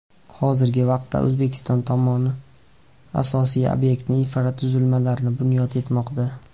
Hozirgi vaqtda O‘zbekiston tomoni asosiy obyekt infratuzilmalarini bunyod etmoqda.